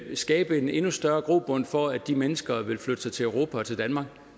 skabe en endnu større grobund for at de mennesker vil flytte sig til europa og til danmark